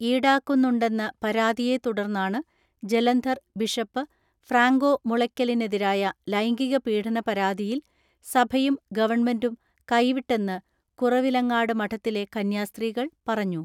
ഈടാക്കുന്നുണ്ടെന്ന പരാതിയെത്തുടർന്നാണ് Jalandhar bishop Franco മുളയ്ക്കലിനെതിരായ ലൈംഗിക പീഡന പരാതിയിൽ സഭയും ഗവൺമെന്റും കൈവി ട്ടെന്ന് കുറവിലങ്ങാട് മഠത്തിലെ കന്യാസ്ത്രീകൾ പറഞ്ഞു.